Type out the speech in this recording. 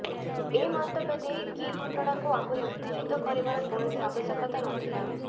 ଏ ମନ୍ତବ୍ୟ ଦେଇ କି ଘଟଣାକୁ ଆହୁରି ଉତ୍ତେଜିତ କରିବାର କୌଣସି ଆବଶ୍ୟକତା ନ ଥିଲା